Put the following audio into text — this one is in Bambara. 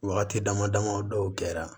Wagati dama dama o dɔw kɛra